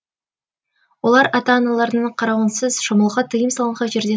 олар ата аналарының қарауынсыз шомылуға тыйым салынған жерде